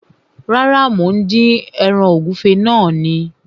Rárá, mò ń dín ẹran ewúrẹ́ náà ni